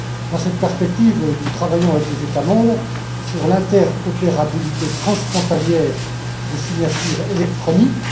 Dans cette perspective, nous travaillons avec les États membres sur l'interopérabilité transfrontalière des signatures électroniques.